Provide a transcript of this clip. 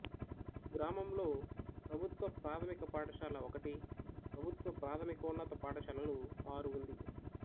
గ్రామంలో ప్రభుత్వ ప్రాథమిక పాఠశాల ఒకటి ప్రభుత్వ ప్రాథమికోన్నత పాఠశాలలు ఆరు ఉంది